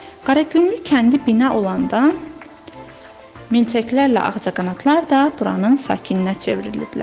Qaragüllü kəndi bina olandan milçəklərlə ağcaqanadlar da buranın sakininə çevriliblər.